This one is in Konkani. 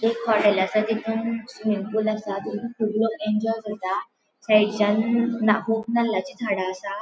एक हॉटेल असा तितुन स्विमिंग पूल असा फूल इन्जॉय जाता थंयचान कुब नाल्लाची झाड़ा असा.